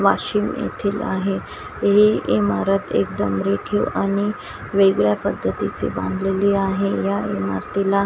वाशिम येथील आहे हे इमारत एकदम रेखीव आणि वेगळ्या पद्धतीची बांधलेली आहे या इमारतीला --